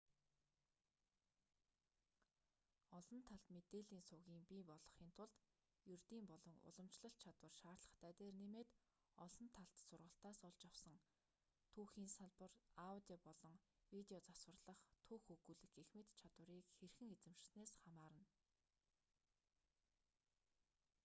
олон талд мэдээлэлийн сувгийн бий болгохын тулд ердийн болон уламжлалт чадвар шаардлагатай дээр нэмээд олон талт сургалтаас олж авсан түүхийн сабар аудио болон видео засварлах түүх өгүүлэх гэх мэт чадварыг хэрхэн эзэмшисэнээс хамаарна